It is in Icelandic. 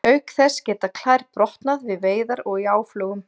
Auk þess geta klær brotnað við veiðar og í áflogum.